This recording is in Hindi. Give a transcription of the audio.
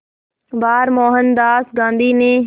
बार मोहनदास गांधी ने